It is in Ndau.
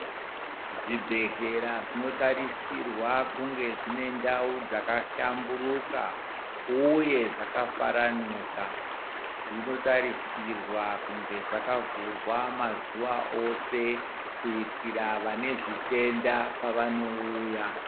Zvi bhedhleya zvino tarisirwa kunge zvine ndau dzaka hlamburuka uye zvaka faranuka zvino tarisirwa kunge zvakavhurwa mazuva ose kuitira vane zvitenda vano uya.